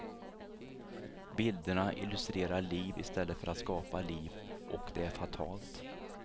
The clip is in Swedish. Bilderna illustrerar liv istället för att skapa liv och det är fatalt.